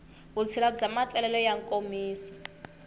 vutshila bya matsalelo ya nkomiso